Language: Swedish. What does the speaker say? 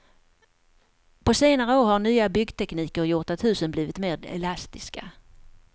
På senare år har nya byggtekniker gjort att husen blivit mer elastiska.